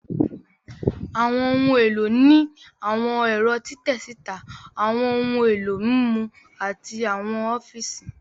Àwọn ohun èlò ní àwọn ẹ̀rọ́ títẹ síta, àwọn ohun èlò mímú, àti àwọn ọfíìsì